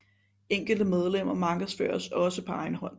Enkelte medlemmer markedsføres også på egen hånd